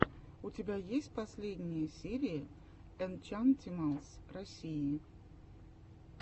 у тебя есть последняя серия энчантималс россии